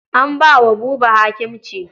An ba wa Buba hakimci.